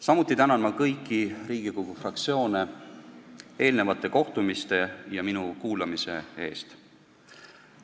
Samuti tänan ma kõiki Riigikogu fraktsioone eelnenud kohtumiste ja minu ärakuulamise eest.